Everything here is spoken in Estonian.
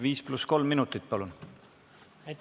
5 + 3 minutit.